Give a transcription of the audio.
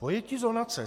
Pojetí zonace.